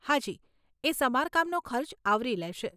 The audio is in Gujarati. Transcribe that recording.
હાજી, એ સમારકામનો ખર્ચ આવરી લેશે.